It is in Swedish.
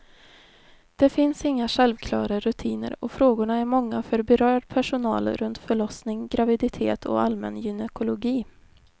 Det finns inga självklara rutiner och frågorna är många för berörd personal runt förlossning, graviditet och allmän gynekologi.